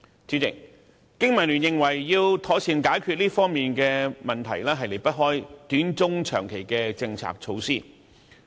主席，香港經濟民生聯盟認為要妥善解決這方面的問題，方法離不開短、中、長期的政策措施。